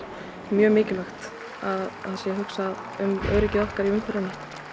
mjög mikilvægt að það sé hugsað um öryggi okkar í umferðinni